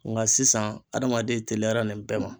Nka sisan adamaden teliyara nin bɛɛ ma.